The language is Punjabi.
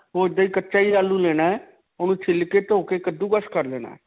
ਓਹ ਇੱਦਾਂ ਹੀ ਕੱਚਾ ਹੀ ਆਲੂ ਲੈਣਾ ਹੈ. ਉਹਨੂੰ ਛਿੱਲ ਕੇ ਧੋ ਕੇ ਕੱਦੂਕਸ ਕਰ ਲੈਣਾ ਹੈ.